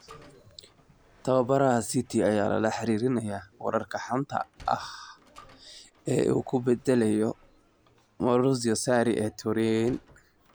Tababaraha City ayaa lala xiriirinayaa wararka xanta ah ee uu ku bedelayo Maurizio Sarri ee Turin.